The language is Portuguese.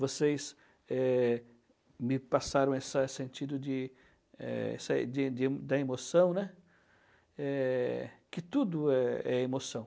Vocês eh... me passaram essa sentido de, eh, essa de de da emoção, né? Eh, que tudo é emoção.